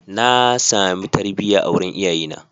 Na sami tarbiyya a wurin iyayena.